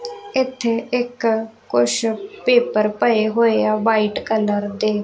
ਇੱਥੇ ਇੱਕ ਕੁੱਛ ਪੇਪਰ ਪਏ ਹੋਏ ਆ ਵਾਈਟ ਕਲਰ ਦੇ।